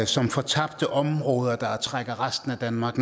som fortabte områder der trækker resten af danmark